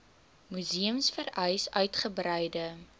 museums vereis uitgebreide